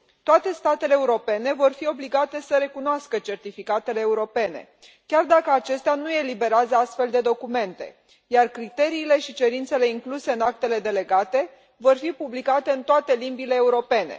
Toate statele europene vor fi obligate să recunoască certificatele europene, chiar dacă acestea nu eliberează astfel de documente, iar criteriile și cerințele incluse în actele delegate vor fi publicate în toate limbile europene.